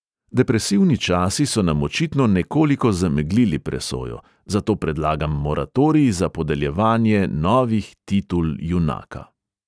Depresivni časi so nam očitno nekoliko zameglili presojo, zato predlagam moratorij za podeljevanje novih titul junaka.